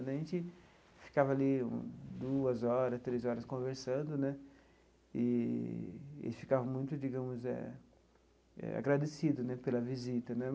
A gente ficava ali duas horas, três horas conversando né eee e eles ficavam muito, digamos eh eh, agradecido né pela visita né.